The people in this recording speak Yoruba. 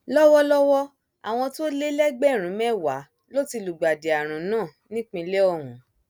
lọwọlọwọ àwọn tó lé lẹgbẹrún mẹwàá ló ti lùgbàdì àrùn náà nípínlẹ ọhún